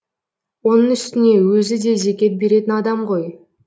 оның үстіне өзі де зекет беретін адам ғой